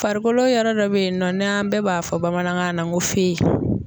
Farikolo yɔrɔ dɔ bɛ yen nɔ n'an bɛɛ b'a fɔ bamanankan na n ko